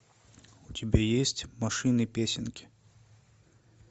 у тебя есть машины песенки